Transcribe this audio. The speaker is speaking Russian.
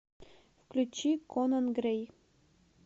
включи конан грэй